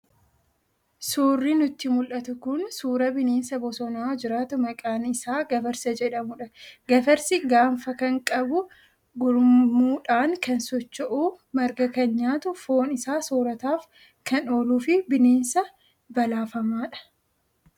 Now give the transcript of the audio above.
Suurri nutti mul'atu kun suuraa bineensa bosona jiraatu maqaan isaa gafarsa jedhamudha. Gafarsi gaanfa kan qabu, gurmiudhaan kan socho'u, marga kan nyaatu, foon isaa soorataaf kan oolu fi bineensa balaafamaadha.